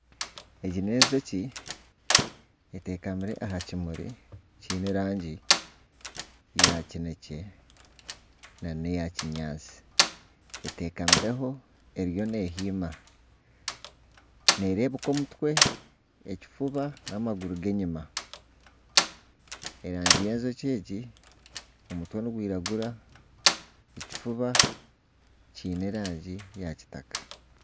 Egi n'enjoki etekamire aha kimuri kyiine erangi ya kinekye nana eya kinyaatsi. Etekamireho eriyo nehiima, nerebuka omutwe ekifuba n'amaguru g'enyima. Erangi y'enjoki egi omutwe nigwiragura ekifuba kyiine erangi ya kitaka.